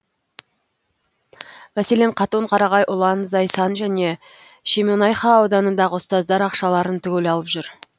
мәселен қатон қарағай ұлан зайсан және шемонайха ауданындағы ұстаздар ақшаларын түгел алып жүр